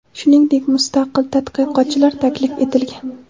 shuningdek mustaqil tadqiqotchilar taklif etilgan.